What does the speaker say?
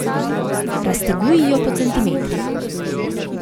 Razteguj jo po centimetrih.